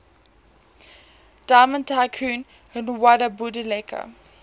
diamond tycoon nwabudike